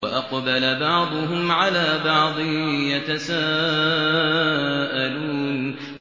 وَأَقْبَلَ بَعْضُهُمْ عَلَىٰ بَعْضٍ يَتَسَاءَلُونَ